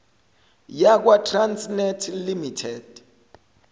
yakwa trasnet limited